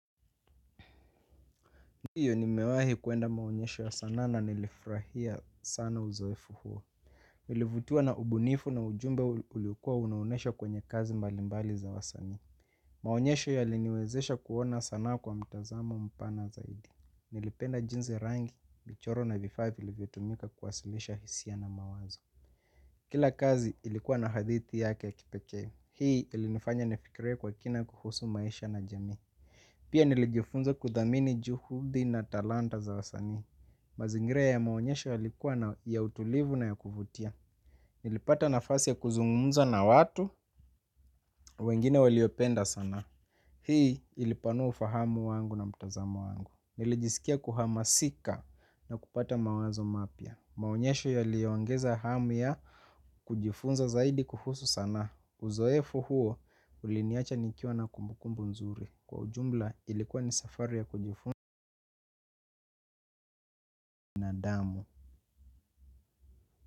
Ndiyo nimewahi kuenda maonyesho ya sanaa na nilifurahia sana uzoefu huo. Nilivutiwa na ubunifu na ujumbe uliokuwa unaonesha kwenye kazi mbalimbali za wasanii. Maonyesho yaliniwezesha kuona sana kwa mtazamo mpana zaidi. Nilipenda jinsi rangi, michoro na vifaa vilivyotumika kuwasilisha hisia na mawazo. Kila kazi ilikuwa na hadithi yake ya kipekee. Hii ilinifanya nifikirie kwa kina kuhusu maisha na jamii. Pia nilijifunza kudhamini juhudi na talanta za wasanii. Mazingira ya maonyesho yalikuwa ya utulivu na ya kuvutia. Nilipata nafasi ya kuzungumza na watu wengine waliopenda sanaa. Hii ilipanua ufahamu wangu na mtazamo wangu. Nilijisikia kuhamasika na kupata mawazo mapya. Maonyesho yaliongeza hamu ya kujifunza zaidi kuhusu sanaa. Uzoefu huo uliniacha nikiwa na kumbukumbu nzuri. Kwa ujumla ilikuwa ni safari ya kujifunza na damu.